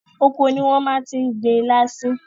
Oko ni wọ́n ti máa gbin ilá sí.